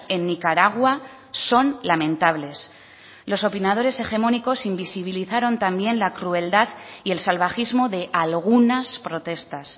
en nicaragua son lamentables los opinadores hegemónicos invisibilizaron también la crueldad y el salvajismo de algunas protestas